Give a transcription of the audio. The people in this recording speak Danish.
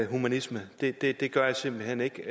humanisme det det gør jeg simpelt hen ikke